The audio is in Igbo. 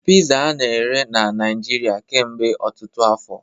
Pizza a na-ere na Naijiria kemgbe ọtụtụ afọ